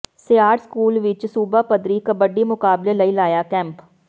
Siar school ਵਿੱਚ ਸੂਬਾ ਪੱਧਰੀ ਕਬੱਡੀ ਮੁਕਾਬਲੇ ਲਈ ਲਾਇਆ ਕੈਂਪ